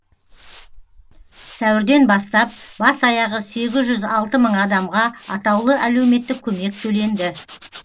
сәуірден бастап бас аяғы сегіз жүз алты мың адамға атаулы әлеуметтік көмек төленді